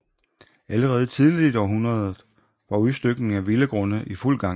Allerede tidligt i århundredet var udstykningen af villagrunde i fuld gang